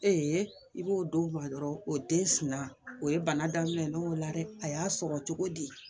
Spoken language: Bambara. i b'o dɔw ba dɔrɔn o den suman o ye bana daminɛ ye ne y'o la dɛ a y'a sɔrɔ cogo di